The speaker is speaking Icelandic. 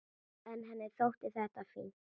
En henni þótti þetta fínt.